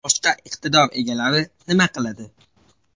Boshqa iqtidor egalari nima qiladi?